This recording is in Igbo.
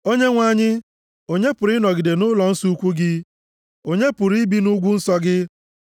Onyenwe anyị, onye pụrụ ịnọgide nʼụlọnsọ ukwu gị? Onye pụrụ ibi nʼugwu nsọ gị?